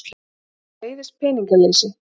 Henni leiðist peningaleysi.